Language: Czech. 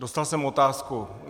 Dostal jsem otázku.